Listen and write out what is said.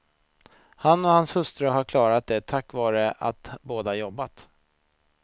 Han och hans hustru har klarat det tack vare att båda jobbat.